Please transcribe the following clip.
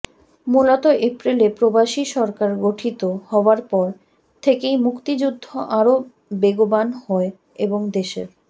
মূলত এপ্রিলে প্রবাসী সরকার গঠিত হওয়ার পর থেকেই মুক্তিযুদ্ধ আরও বেগবান হয় এবং দেশের